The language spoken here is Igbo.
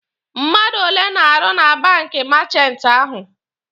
Mmadụ ole na-arụ na banki meechanti ahụ?